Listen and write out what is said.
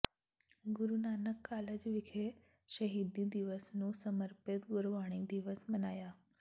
ਗੁਰੂ Nanak college ਵਿਖੇ ਸ਼ਹੀਦੀ ਦਿਵਸ ਨੂੰ ਸਮਰਪਿਤ ਗੁਰਬਾਣੀ ਦਿਵਸ ਮਨਾਇਆ